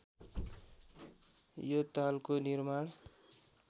यो तालको निर्माण